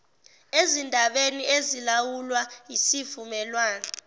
ezindabeni ezilawulwa yisivumelwane